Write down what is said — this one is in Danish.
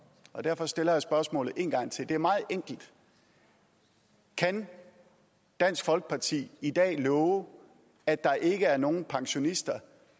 og derfor stiller jeg spørgsmålet en gang til det er meget enkelt kan dansk folkeparti i dag love at der ikke er nogen pensionister